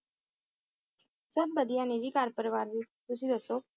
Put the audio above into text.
ਸਬ ਵਧੀਆ ਨੇ ਜੀ ਘਰ ਪਰਿਵਾਰ ਵੀ, ਤੁਸੀਂ ਦੱਸੋ?